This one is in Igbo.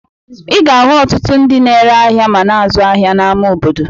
Ị ga-ahụ ọtụtụ ndị na-ere ahịa ma na-azụ ahịa n'ama obodo.